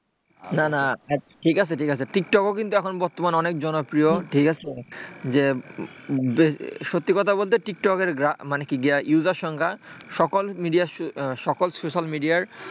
না না ঠিক আছে ঠিক আছে টিকটক কিন্তু এখন বর্তমানে খুবই জনপ্রিয় ঠিক আছে যে সত্যি কথা বলতে টিকটকের user সংখ্যা সকল সোশ্যাল মিডিয়ার,